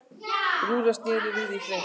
Rúta snéri við í Þrengslum